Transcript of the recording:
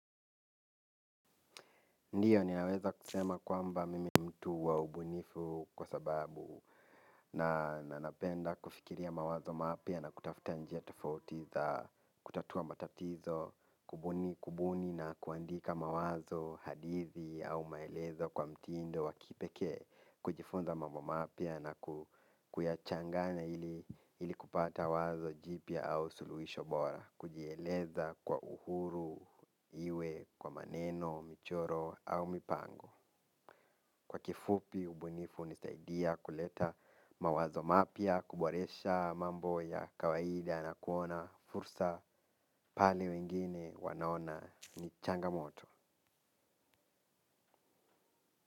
Ndio ninaweza kusema kwamba mimi ni mtu wa ubunifu kwa sababu nanapenda kufikiria mawazo mapya na kutafuta njia tofauti za kutatua matatizo, kubuni na kuandika mawazo, hadithi au maelezo kwa mtindo wa kipekee, kujifunza mambo mapya na kuyachanganya ili kupata wazo jipya au suluhisho bora. Kujieleza kwa uhuru, iwe kwa maneno, michoro au mipango. Kwa kifupi ubunifu hunisaidia kuleta mawazo mapya, kuboresha mambo ya kawaida na kuona fursa pale wengine wanaona ni changamoto.